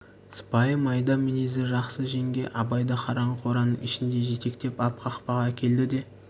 сыпайы майда мінезді жақсы жеңге абайды қараңғы қораның ішінде жетектеп ап қақпаға әкелді де